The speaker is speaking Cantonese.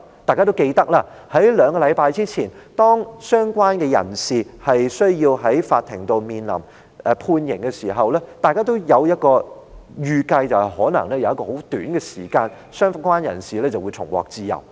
大家記得，在兩星期前，當相關人士在法庭面臨判刑時，大家也預計在一段短時間後，相關人士就會重獲自由。